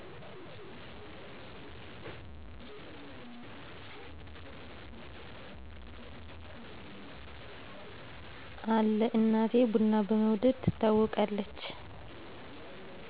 አለ እናቴ ብና በመውደድ ትታወቃለች።